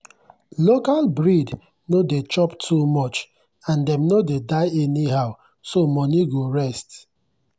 local breed no dey chop too much and dem no dey die anyhow so money go rest.